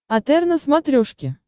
отр на смотрешке